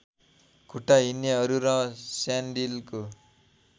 खुट्टा हिँड्नेहरू र स्यान्डिलको